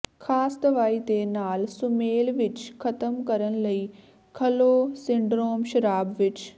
ਖਾਸ ਦਵਾਈ ਦੇ ਨਾਲ ਸੁਮੇਲ ਵਿੱਚ ਖ਼ਤਮ ਕਰਨ ਲਈ ਖਲ੍ਹੋ ਸਿੰਡਰੋਮ ਸ਼ਰਾਬ ਵਿੱਚ